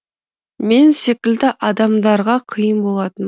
мен секілді адамдарға қиын болатын